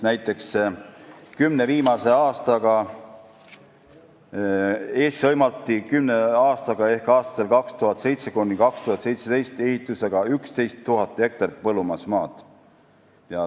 Näiteks, kümne viimase aastaga ehk aastatel 2007–2017 hõlmati Eestis ehitusega 11 000 hektarit põllumajandusmaad.